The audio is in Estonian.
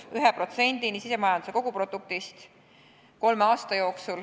Eesmärk on ju olnud, et see kasvab kolme aasta jooksul 1%-ni sisemajanduse koguproduktist.